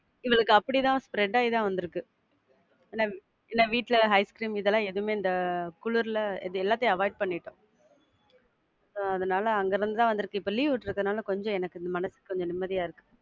இல்ல இல்ல அக்கா. அப்படியே தான் spread ஆயி தான் வந்துருக்கு. ஏன்னா, ஏன்னா வீட்ல ஐஸ்கிரீம் இதுலாம் எதுவுமே இந்த குளிர்ல இது எல்லாத்தையும் avoid பண்ணிட்டோம். so அதுனால அங்க இருந்துதான் வந்துருக்கு. இப்போ leave விட்ருக்கனால கொஞ்சம் எனக்கு மனசு கொஞ்சம் நிம்மதியா இருக்கு.